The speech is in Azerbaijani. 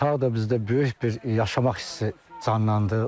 Tağ da bizdə böyük bir yaşamaq hissi canlandı.